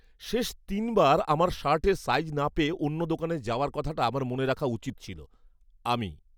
শেষ তিনবার আমার শার্টের সাইজ না পেয়ে অন্য দোকানে যাওয়ার কথাটা আমার মনে রাখা উচিত ছিল। আমি